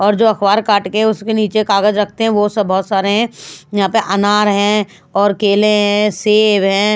और जो अखबार काट के उसके नीचे कागज रखते हैं वो सब बहुत सारे हैं यहाँ पर अनार है और केले हैं सेब है।